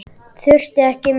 Þurfti ekki meira.